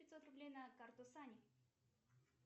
пятьсот рублей на карту сани